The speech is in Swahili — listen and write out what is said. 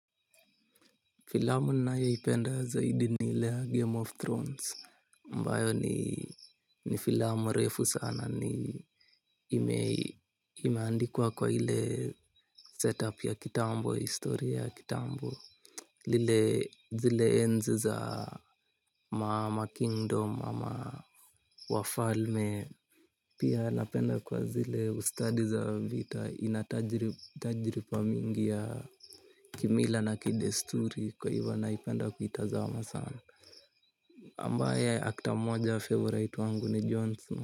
Filamu nayoipenda zaidi ni ile ya Game of Thrones ambayo ni ni filamu refu sana ni imeandikwa kwa ile setup ya kitambo, historia ya kitambo. Lile zile enzi za ma makingdom ama wafalme. Pia napenda kwa zile ustadi za vita inatajiriba mingi ya kimila na kidesturi kwa hivyo naipenda kuitazama sana. Ambaye actor moja favourite wangu ni John Snow.